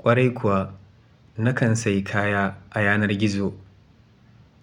Kwarai kuwa, nakan sayi kaya a yanar gizo